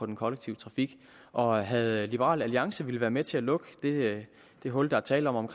den kollektive trafik og havde liberal alliance villet være med til at lukke det det hul der er tale om